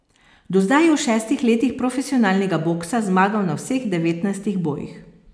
Do zdaj je v šestih letih profesionalnega boksa zmagal na vseh devetnajstih bojih.